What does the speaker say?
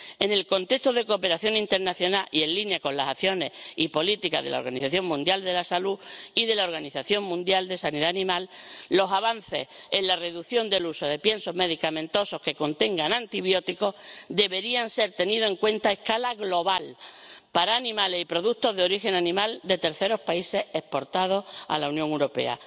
En el contexto de la cooperación internacional, y en línea con las acciones y políticas de la Organización Mundial de la Salud y de la Organización Mundial de Sanidad Animal, los avances en la reducción del uso de piensos medicamentosos que contengan antibióticos deberían ser tenidos en cuenta a escala global para animales y productos de origen animal de terceros países exportados a la Unión Europea.